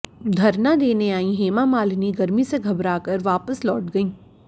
धरना देने आईं हेमामालिनी गर्मी से घबराकर वापस लौट गईं